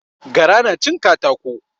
Gara na cin katako